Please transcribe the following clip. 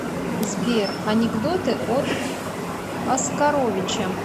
сбер анекдоты от оскаровича